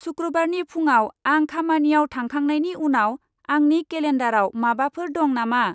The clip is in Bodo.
सुक्रुबारनि फुंआव आं खामानियाव थांखांनायनि उनाव आंनि केलेन्डाराव माबाफोर दं नामा?